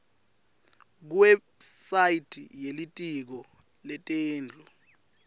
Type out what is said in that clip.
kuwebsite yelitiko letetindlu